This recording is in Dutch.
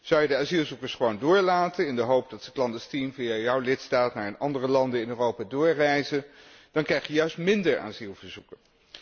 Zou je de asielzoekers gewoon doorlaten in de hoop dat ze clandestien via jouw lidstaat naar andere landen in Europa doorreizen, dan krijg je juist minder asielverzoeken.